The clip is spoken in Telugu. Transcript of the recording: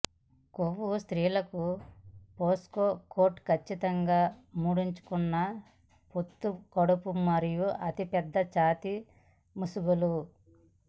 కొవ్వు స్త్రీలకు పోన్కో కోట్ ఖచ్చితంగా ముడుచుకున్న పొత్తికడుపు మరియు అతి పెద్ద ఛాతీ ముసుగులు